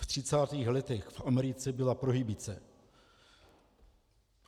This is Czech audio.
V třicátých letech v Americe byla prohibice.